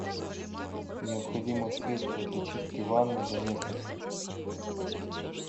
необходимо средство для чистки ванны доместос